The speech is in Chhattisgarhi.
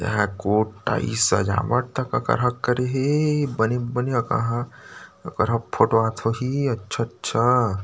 यहाँ कोट टाई सजावट तक अकरहा करे होही बने बने अकरहा अकरहा फोटो आत होही अच्छा - अच्छा--